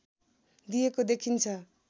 दिएको देखिन्छ